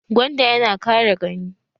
Gwanda ya na kare gani